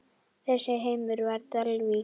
Þessi heimur var Dalvík.